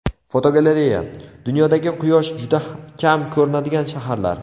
Fotogalereya: Dunyodagi quyosh juda kam ko‘rinadigan shaharlar.